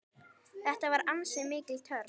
Þetta var ansi mikil törn.